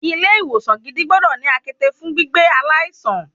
Ilé ìwòsan gidi gbọ́dọ̀ ní àkéte fún gbígbé aláìsàn.